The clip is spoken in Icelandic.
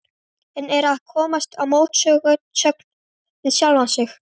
En er að komast í mótsögn við sjálfa mig.